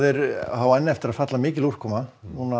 á enn eftir að falla mikil úrkoma